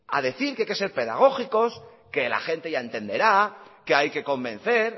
a decir que hay que ser pedagógicos que la gente ya entenderá que hay que convencer